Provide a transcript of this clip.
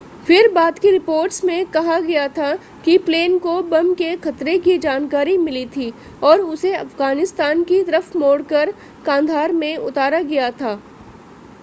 फिर बाद की रिपोर्ट्स में कहा गया था कि प्लेन को बम के ख़तरे की जानकारी मिली थी और उसे अफ़गानिस्तान की तरफ़ मोड़कर कांधार में उतारा गया था